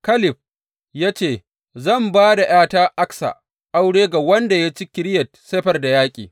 Kaleb ya ce, Zan ba da ’yata Aksa aure ga wanda zai ci Kiriyat Sefer da yaƙi.